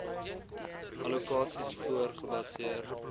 allokasies voor gebaseer